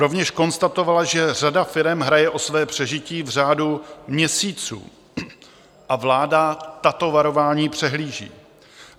Rovněž konstatovala, že řada firem hraje o své přežití v řádu měsíců, a vláda tato varování přehlíží.